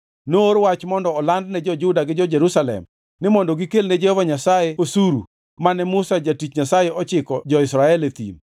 Noor wach mondo oland ne jo-Juda gi jo-Jerusalem ni mondo gikelne Jehova Nyasaye osuru mane Musa jatich Nyasaye ochiko jo-Israel e thim.